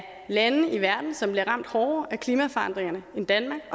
lande i verden som bliver ramt hårdere af klimaforandringerne end danmark